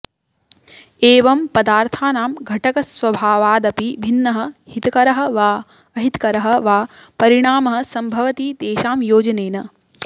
एवं पदार्थानां घटकस्वभावादपि भिन्नः हितकरः वा अहितकरः वा परिणामः सम्भवति तेषां योजनेन